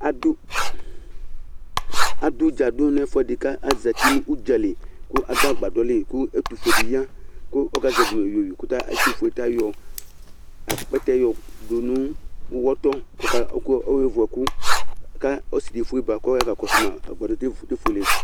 adu dza du nɛfuɛdi ka azɛti nu udzali ku adu agbadɔli ku ɛtufué di ya ku ɔkazɛvi yoyo ku ɛtufué tayɔ akpɛtɛ yɔdu nu uwɔtɔ ké ké vuɛku ka ɔsi di éfué ba kɔ ya ka kɔsu ma atani éfuélé